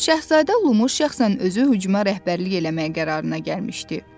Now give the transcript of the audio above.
Şahzadə Lumu şəxsən özü hücuma rəhbərlik eləmək qərarına gəlmişdi.